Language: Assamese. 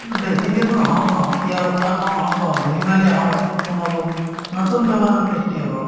বেছিকেতো হাওঁফাওঁ এতিয়া উশাহ লও হাওঁফাওঁ ধূলি-বালি হাওঁফাওঁত সোমাব নতুন বেমাৰৰ সৃষ্টি হ'ব